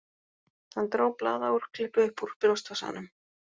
Hann dró blaðaúrklippu upp úr brjóstvasanum